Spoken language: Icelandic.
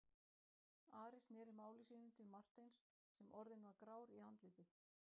Ari sneri máli sínu til Marteins sem orðinn var grár í andliti.